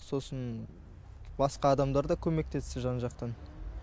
сосын басқа адамдар да көмектесті жан жақтан